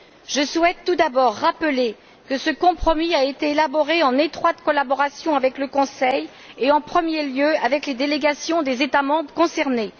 Je souhaite tout d'abord rappeler que ce compromis a été élaboré en étroite collaboration avec le Conseil, et en premier lieu, avec les délégations des États membres concernés.